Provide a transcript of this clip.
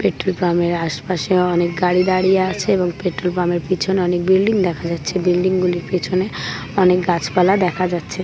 Petrol pump এর আশপাশে অনেক গাড়ি দাঁড়িয়ে আছে এবং পেট্রোল পাম্প এর পিছনে অনেক বিল্ডিং দেখা যাচ্ছে বিল্ডিং গুলোর পিছনে অনেক গাছপালা দেখা যাচ্ছে ।